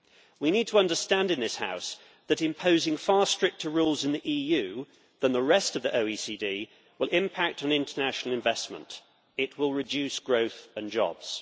We need to understand in this House that imposing far stricter rules in the EU than in the rest of the OECD will impact on international investment it will reduce growth and jobs.